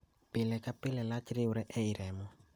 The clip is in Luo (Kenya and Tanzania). pile ka pile, lach riwre e i remo